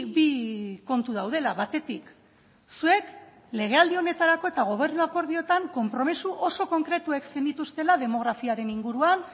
bi kontu daudela batetik zuek legealdi honetarako eta gobernu akordioetan konpromiso oso konkretuek zenituztela demografiaren inguruan